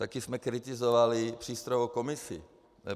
Taky jsme kritizovali přístrojovou komisi.